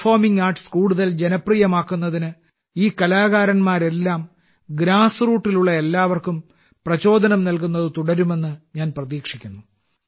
performing arts കൂടുതൽ ജനപ്രിയമാക്കുന്നതിന് ഈ കലാകാരന്മാരെല്ലാം സമൂഹത്തിന്റെ അടിത്തട്ടിലുള്ള എല്ലാവർക്കും പ്രചോദനം നൽകുന്നത് തുടരുമെന്ന് ഞാൻ പ്രതീക്ഷിക്കുന്നു